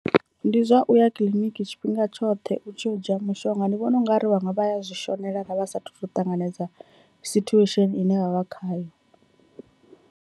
Ndi zwa uya kiḽiniki tshifhinga tshoṱhe u tshi yo u dzhia mushonga, ndi vhona ungari vhaṅwe vha ya zwi shonela vha sathu to ṱanganedzwa situation ine vha vha khayo.